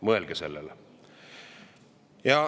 Mõelge sellele.